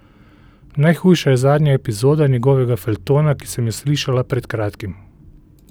Najhujša je zadnja epizoda njegovega feljtona, ki sem jo slišala pred kratkim.